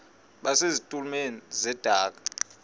base zitulmeni zedaka